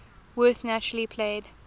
werth naturally played